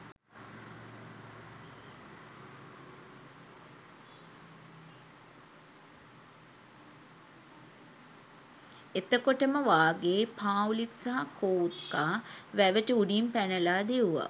එතකොටම වාගේ පාව්ලික් සහ කෝත්කා වැටට උඩින් පැනලා දිව්වා